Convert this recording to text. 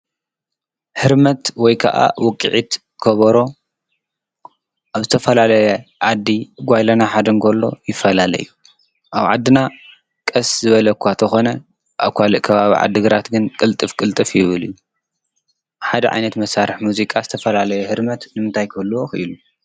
ሕርመት ወይ ከዓ ውቂዒት ከበሮ ኣብ ዝተፈላለ ዓዲ ጓይላና ሓደ እንከሎ ይፈላለ እዩ። ኣብ ዓድና ቐስ ዝበለ እኳ እንተኾነ ኣብ ካሊእ ካባብ ዓዲግራት ግን ቕልጥፍ ቅልጥፍ ይብል እዩ። ሓደ ዓይነት መሣርሕ ሙዚቃ ዝተፈላለየ ህርመት ንምንታይ ክህልዎ ኢሉ?